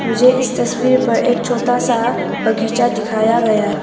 मुझे इस तस्वीर पर एक छोटा सा बगीचा दिखाया गया--